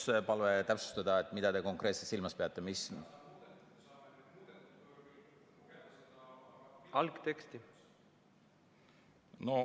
Mul oleks palve täpsustada, mida te konkreetselt silmas peate.